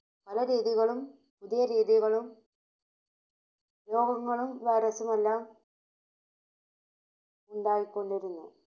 പലരീതികളും, പുതിയ രീതികളും രോഗങ്ങളും വൈറസും എല്ലാം ഉണ്ടായിക്കൊണ്ടിരുന്നു.